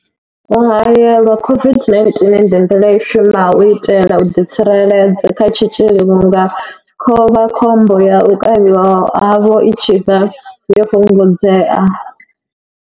U haelelwa COVID-19 ndi nḓila i shumaho u itela u ḓi tsireledza kha tshitzhili vhunga khovhakhombo ya u kavhiwa havho i tshi vha yo fhungudzea.